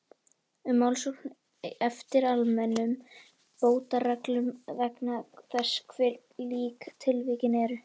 um málsókn eftir almennum bótareglum vegna þess hve lík tilvikin eru.